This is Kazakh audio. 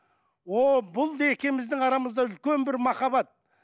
ооо бұл екеуміздің арамызда үлкен бір махаббат